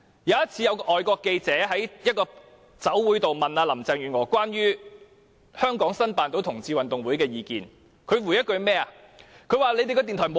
有一次，港台記者在酒會上問林鄭月娥關於香港成功申辦同志運動會的意見，她怎麼回應呢？